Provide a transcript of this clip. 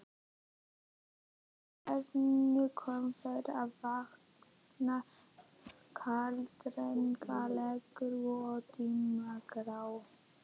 Á háheiðinni komu þeir að vatni, kaldranalegu og dimmgráu.